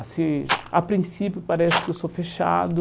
Assim, a princípio parece que eu sou fechado,